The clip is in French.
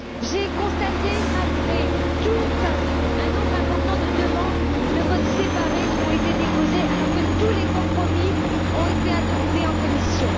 J'ai constaté, malgré tout, un nombre important de demandes de vote séparé qui ont été déposées, alors que tous les compromis ont été adoptés en commission.